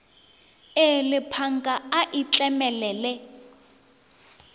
e lepanka a e tlemelele